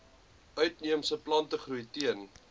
uitheemse plantegroei teen